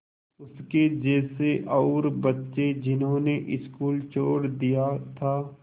उसके जैसे और बच्चे जिन्होंने स्कूल छोड़ दिया था